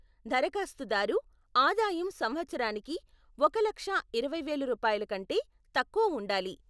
దరఖాస్తుదారు ఆదాయం సంవత్సరానికి ఒక లక్ష ఇరవై వేలు రూపాయల కంటే తక్కువ ఉండాలి.